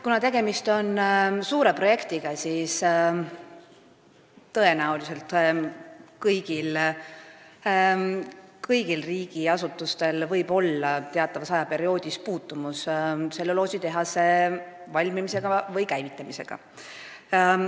Kuna tegemist on suure projektiga, siis tõenäoliselt võib kõigil riigiasutustel mingil perioodil olla teatav puutumus tselluloositehase valmimise või käivitamisega.